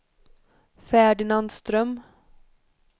Ferdinand Ström